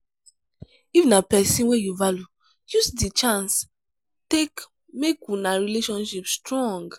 if na person wey you value use di chance take make una relationship strong